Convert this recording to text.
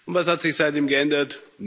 Und was hat sich seitdem geändert?